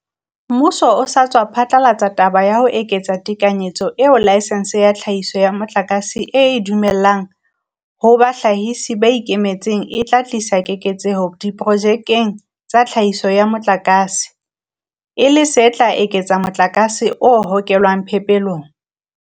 Mmuso o sa tswa phatlalatsa taba ya ho eketsa tekanyetso eo laesense ya tlhahiso ya motlakase e e dumellang ho bahlahisi ba ikemetseng e tla tlisa keketseho diprojekeng tsa tlhahiso ya motlakase, e le se tla eketsa motlakase o hokelwang phepelong.